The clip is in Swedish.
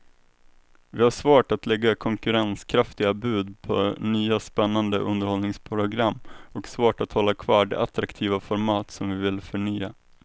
Vi har svårt att lägga konkurrenskraftiga bud på nya spännande underhållningsprogram och svårt att hålla kvar de attraktiva format som vi vill förnya.